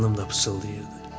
Xanım da pıçıldayırdı.